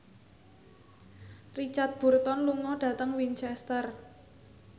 Richard Burton lunga dhateng Winchester